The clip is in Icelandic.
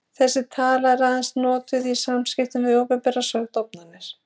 þessi tala er aðeins notuð í samskiptum við opinberar stofnanir